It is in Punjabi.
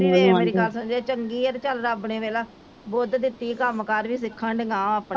ਦੀਦੀ ਵੇਖ ਮੇਰੀ ਗੱਲ ਸੁਣ ਜੇ ਚੰਗੀ ਆ ਤੇ ਚਲ ਰੱਬ ਨੇ ਵੇਖਲਾ ਬੁੱਧ ਦਿੱਤੀ ਆ ਕੰਮ ਕਾਰ ਵੀ ਸਿੱਖਣ ਦੀਆ ਵਾ ਉਹ ਆਪਣਾ।